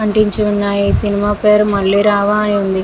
అంటించి ఉన్నాయి సినిమా పేరు మళ్ళీ రావా అని.